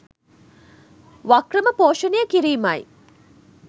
වක්‍රම පෝෂණය කිරීමයි